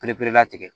perelatigɛ